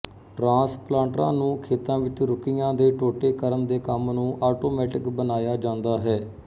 ਟ੍ਰਾਂਸਪਲਾਂਟਰਾਂ ਨੂੰ ਖੇਤਾਂ ਵਿੱਚ ਰੁੱਕੀਆਂ ਦੇ ਟੋਟੇ ਕਰਨ ਦੇ ਕੰਮ ਨੂੰ ਆਟੋਮੈਟਿਕ ਬਣਾਇਆ ਜਾਂਦਾ ਹੈ